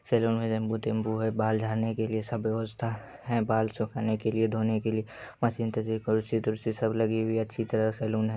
Salon मे नींबू-टिंबु है बाल झाड़ने के लिए सब व्यवस्था ह-- है। बाल सुखाने के लिए धोने के लिए। मशीन -तशीन कुर्सी तुर्सी सब लगी हुई है। अच्छी तरह सैलून --